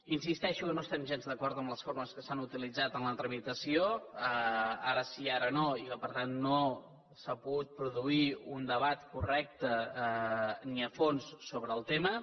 insisteixo que no estem gens d’acord amb les formes que s’han utilitzat en la tramitació ara sí ara no i per tant no s’ha pogut produir un debat correcte ni a fons sobre el tema